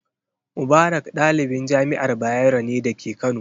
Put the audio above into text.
Mubarak ɗalibin jami'ar Bayero ne da ke Kano.